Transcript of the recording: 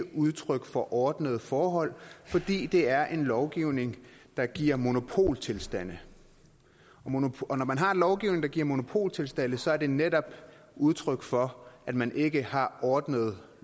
udtryk for ordnede forhold fordi det er en lovgivning der giver monopoltilstande og når man har en lovgivning der giver monopoltilstande så er det netop udtryk for at man ikke har ordnede